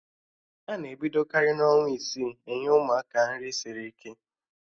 Ana ebidokarị n'ọnwa isii enye Ụmụaka nri sịrị ike